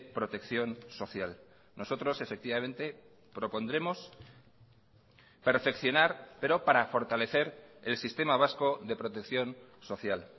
protección social nosotros efectivamente propondremos perfeccionar pero para fortalecer el sistema vasco de protección social